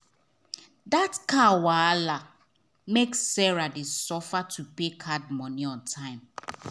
that car wahala make sarah dey suffer to pay card money on time.